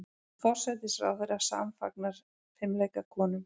Forsætisráðherra samfagnar fimleikakonum